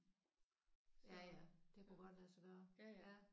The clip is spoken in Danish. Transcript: Ja ja det kunne godt lade sig gøre